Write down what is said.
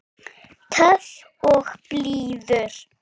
Töff og blíður.